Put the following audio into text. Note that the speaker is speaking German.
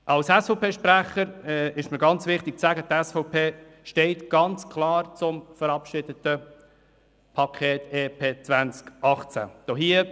Als SVP-Sprecher ist es mir wichtig, Ihnen mitzuteilen, dass die SVP ganz klar zum verabschiedeten Paket EP 18 steht.